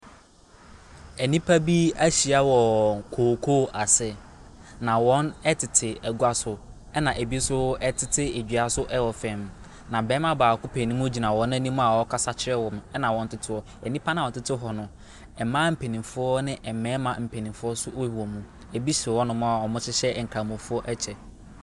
Nnipa bi ahyia wɔ kokoo ase na wɔn ɛtete agua so ɛna ebi ɛnso ɛtete edua so ɛwɔ fam. Na barima baako mpanyinmu gyina wɔn anim a ɔrekasa kyerɛ wɔn ɛna wɔtete hɔ. Nnipa na wɔtete hɔ no mmaa mpanyinfoɔ ne mmarima mpanyinfoɔ ewɔ mu. Ebi te hɔ nom a wɔhyehyɛ nkramofoɔ kyɛ.